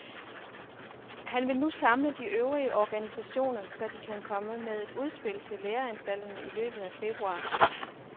Han vil nu samle de øvrige organisationer, så de kan komme med et udspil til læreanstalterne i løbet af februar.